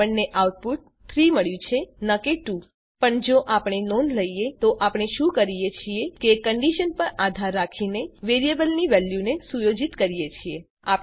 આપણને આઉટપુટ ૩ મળ્યું છે ન કે ૨ પણ જો આપણે નોંધ લઈએ તો આપણે શું કરીએ છીએ કે કંડીશન પર આધાર રાખીને વેરીએબલની વેલ્યુને સુયોજિત કરીએ છીએ